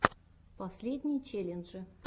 последние челленджи